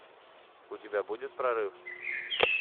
у тебя будет прорыв